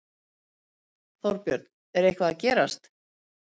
Þorbjörn: Er eitthvað að gerast?